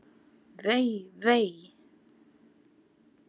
Vei, vei!